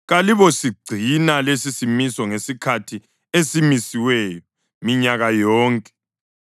Kalibosigcina lesisimiso ngesikhathi esimisiweyo minyaka yonke.